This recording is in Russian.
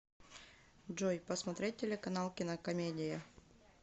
джой посмотреть телеканал кинокомедия